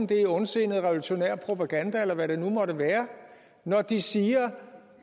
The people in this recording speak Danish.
det er ondsindet revolutionær propaganda eller hvad det nu måtte være når de siger